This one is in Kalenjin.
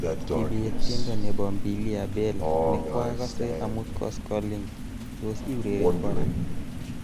Kibet tiendo nebo Mbilia bel nekwokasse amut koskolik tos iureren kora